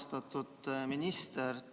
Austatud minister!